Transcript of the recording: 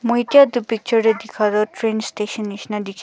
moike etu picture te dekha tu trian station nisna dekhi--